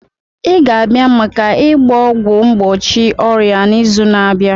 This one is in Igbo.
Ị ga-abịa maka ịgba ọgwụ mgbochi ọrịa n'izu na-abịa!